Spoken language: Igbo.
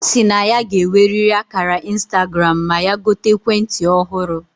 Osi na ya ga eweriri akara Instagram ma ya gote ekwe nti ohuru